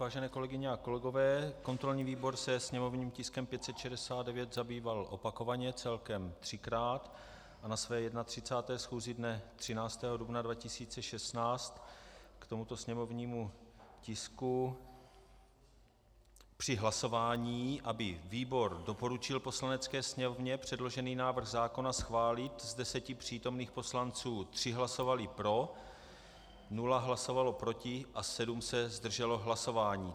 Vážené kolegyně a kolegové, kontrolní výbor se sněmovním tiskem 569 zabýval opakovaně celkem třikrát a na své 31. schůzi dne 13. dubna 2016 k tomuto sněmovnímu tisku při hlasování, aby výbor doporučil Poslanecké sněmovně předložený návrh zákona schválit, z deseti přítomných poslanců tři hlasovali pro, nula hlasovala proti a sedm se zdrželo hlasování.